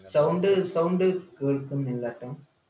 sound sound കേൾക്കുന്നില്ല ട്ടോ